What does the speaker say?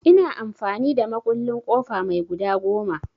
Ina amfani da mukullin ƙofa mai guda goma.